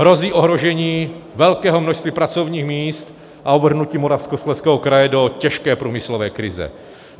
Hrozí ohrožení velkého množství pracovních míst a uvrhnutí Moravskoslezského kraje do těžké průmyslové krize.